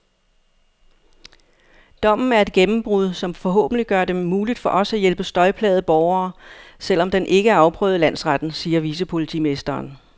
Dommen er et gennembrud, som forhåbentlig gør det muligt for os at hjælpe støjplagede borgere, selv om den ikke er afprøvet i landsretten, siger vicepolitimesteren.